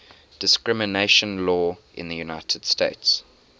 discrimination law in the united states